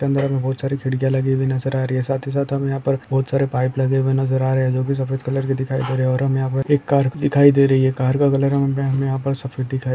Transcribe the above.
के अंदर हमें बोहोत सारी खिड़कियाँ लगी हुई नजर आ रही है साथ ही साथ हमें यहाँ पर बहुत सारे पाइप लगे हुए नजर आ रहे है जोकि सफेद कलर के दिखाई दे रहे और हमें यहाँ पर एक कार दिखाई दे रही है कार का कलर हमें यहाँ पर सफेद दिखाई --